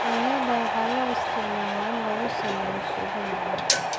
Yaanyada waxaa loo isticmaalaa in lagu sameeyo suugo macaan.